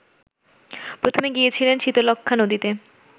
প্রথমে গিয়েছিলেন শীতলক্ষ্যা নদীতে